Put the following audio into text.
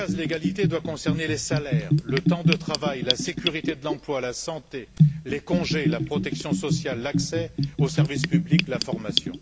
Cercas, l'égalité doit concerner les salaires, le temps de travail, la sécurité de l'emploi, la santé, les congés, la protection sociale, l'accès aux services publics, la formation.